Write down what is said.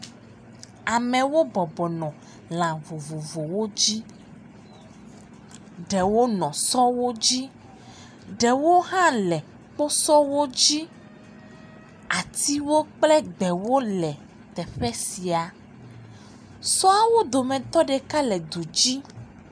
Amewo bɔbɔnɔ lã vovovowo dzi. Ɖewo nɔ sɔwo dzi, ɖewo hã le kposɔwo dzi. Atiwo kple gbewo le teƒe sia. Sɔawo dometɔ ɖeka le du dzi.